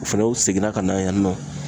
U fɛnɛ u seginna ka na yan nɔ.